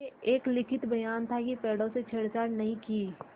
यह एक लिखित बयान था कि पेड़ों से छेड़छाड़ नहीं की